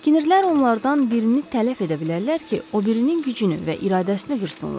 Kinirlər onlardan birini tələf edə bilərlər ki, o birinin gücünü və iradəsini qırsınlar.